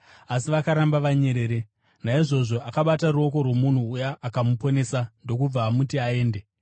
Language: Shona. Asi vakaramba vanyerere. Naizvozvo akabata ruoko rwomunhu uya, akamuporesa ndokubva amuti aende.